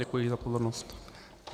Děkuji za pozornost.